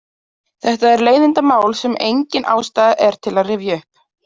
Þetta er leiðindamál sem engin ástæða er til að rifja upp.